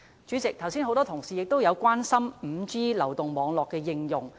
主席，很多同事剛才也關心 5G 流動網絡的應用。